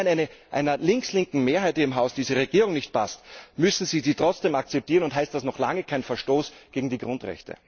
Und nur, weil einer links linken Mehrheit hier im Haus diese Regierung nicht passt, müssen Sie sie trotzdem akzeptieren, und ist das noch lange kein Verstoß gegen die Grundrechte.